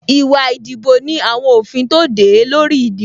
Ìwà ìdìbò ní àwọn òfin tó de e lórí ìdìbò